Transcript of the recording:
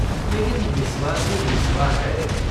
लेकिन बिस्वा तो बिस्वा है।